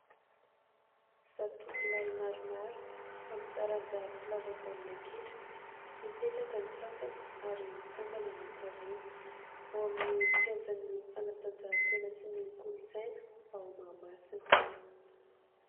Zatovolahy maromaro amin'ny taranja mpilalao baolina kitra. Mipetraka ny sasany ary mitsangana ny ato aoriana ao amin'ny kianjan'ny fanatanjahan-tena sy ny kolontsaina ao Mahamasina.